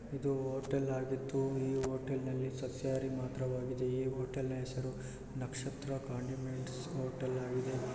ಇದು ಹೋಟೆಲ್ ಆಗಿದ್ದು ಈ ಹೋಟಲ್ ನಲ್ಲಿ ಸಸ್ಯಾಹಾರಿ ಮಾತ್ರವಾಗಿದೆ ಈ ಹೋಟೆಲ್ ನ ಹೆಸರು ನಕ್ಷತ್ರ ಕಾಂಡಿಮೆಂಟ್ಸ್ ಹೋಟೆಲ್ ಆಗಿದೆ .